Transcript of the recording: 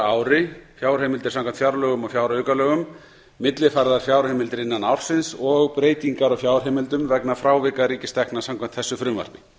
ári fjárheimildir samkvæmt fjárlögum og fjáraukalögum millifærðar fjárheimildir innan ársins og breytingar á fjárheimildum vegna frávika ríkistekna samkvæmt þessu frumvarpi